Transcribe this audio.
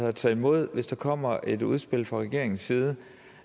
at tage imod hvis der kommer et udspil fra regeringens side